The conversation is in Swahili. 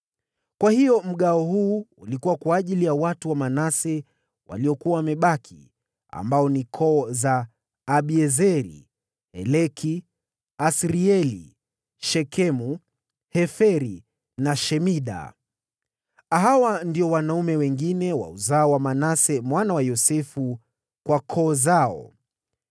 Kwa hiyo mgawo huu ulikuwa kwa ajili ya watu wa Manase waliokuwa wamebaki, ambao ni koo za Abiezeri, Heleki, Asirieli, Shekemu, Heferi na Shemida. Hawa ndio wanaume wale wengine wa uzao wa Manase mwana wa Yosefu kwa koo zao.